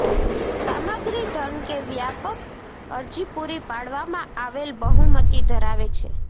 સામગ્રી ધન કે વ્યાપક અરજી પૂરી પાડવામાં આવેલ બહુમતી ધરાવે છે